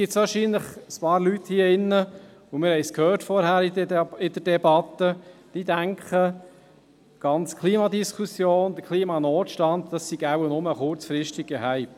Jetzt gibt es wahrscheinlich ein paar Leute hier drin – wir haben es vorhin in der Debatte gehört – die denken, dass die ganze Klimadiskussion und der Klimanotstand wohl nur ein kurzfristiger Hype seien.